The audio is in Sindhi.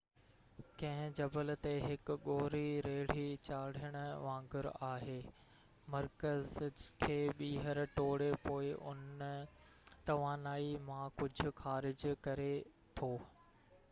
ڪنهن جبل تي هڪ ڳوري ريڙهي چاڙهڻ وانگر آهي مرڪز کي ٻيهر ٽوڙي پوءِ ان توانائي مان ڪجهه خارج ڪري ٿو